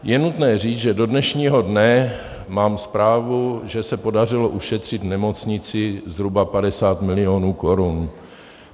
Je nutné říct, že do dnešního dne mám zprávu, že se podařilo ušetřit nemocnici zhruba 50 mil. korun;